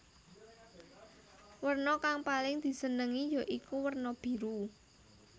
Werna kang paling disenengi ya iku werna biru